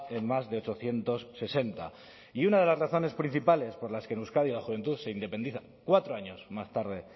en más de ochocientos sesenta y una de las razones principales por las que en euskadi la juventud se independiza cuatro años más tarde